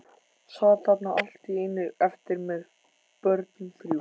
Sat þarna allt í einu eftir með börnin þrjú.